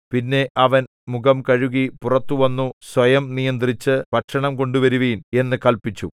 പിന്നെ അവൻ മുഖം കഴുകി പുറത്തു വന്നു സ്വയം നിയന്ത്രിച്ച് ഭക്ഷണം കൊണ്ടുവരുവിൻ എന്നു കല്പിച്ചു